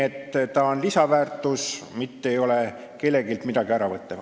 See on lisaväärtus, mitte ei võta kelleltki midagi ära.